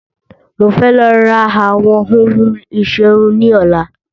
Mo fẹ́ lọ ra àwọn ohun ìsẹrun ni ọ̀la